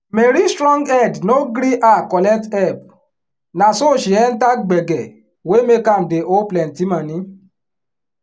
mary strong head no gree her collect help na so she enter gbege wey make am dey owe plenty moni.